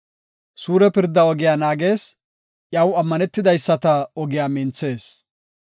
Suure pirda ogiya naagees; iyaw ammaneteyisata ogiya minthees.